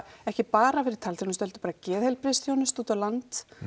ekki bara fyrir talþjónustu heldur bara geðheilbrigðisþjónustu út á land